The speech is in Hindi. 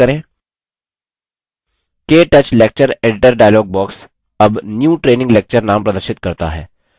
ktouch lecture editor dialog box अब new training lecture name प्रदर्शित करता है